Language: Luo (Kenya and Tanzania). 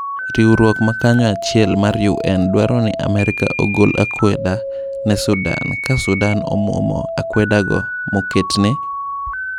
Riuruok makanyoachiel mar UN dwaroni Amerka ogol akweda ne Sudan ka Sudan omwomo akwedago moketne?